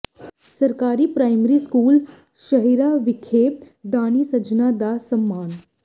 ਸਰਕਾਰੀ primary school Shehna ਵਿਖੇ ਦਾਨੀ ਸੱਜਣਾਾ ਦਾ ਸਨਮਾਨ